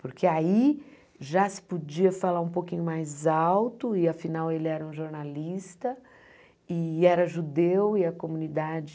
Porque aí já se podia falar um pouquinho mais alto, e afinal ele era um jornalista, e era judeu, e a comunidade...